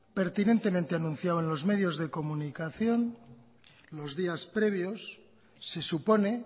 pertinentemente anunciado en los medios de comunicación los días previos se supone